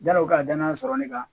Janni o ka danaya sɔrɔ ne kan